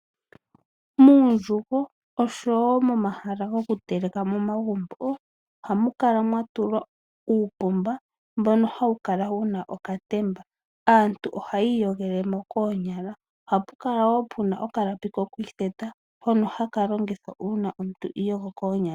Muundjugo oshowo momahala goku telekela momagumbo ohamu kala mwatulwa uupomba mbono hawu kala wuna okatemba. Aantu ohaya iyogele mo koonyala. Ohapu kala wo puna okalapi koku itheta hono haka longithwa uuna omuntu iiyogo koonyala.